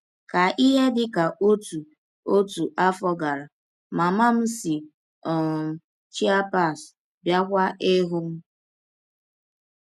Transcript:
Ka ihe dị ka ọtụ ọtụ afọ gara, mama m si um Chiapas bịakwa ịhụ m.